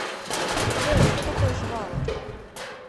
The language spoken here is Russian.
джой что такое жвалы